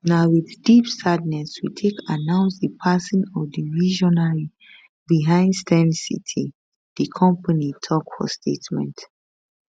na wit deep sadness we take announce di passing of di visionary behind steyn city di company tok for statement